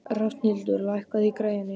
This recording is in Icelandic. Rafnhildur, lækkaðu í græjunum.